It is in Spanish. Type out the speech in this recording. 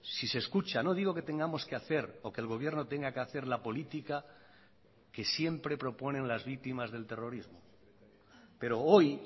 si se escucha no digo que tengamos que hacer o que el gobierno tenga que hacer la política que siempre proponen las víctimas del terrorismo pero hoy